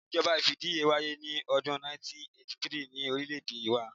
Ìjọba fìdíheẹ́ wáyé ní odún 1983 ni orílẹ̀ èdè wa